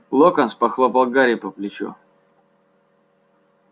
локонс похлопал гарри по плечу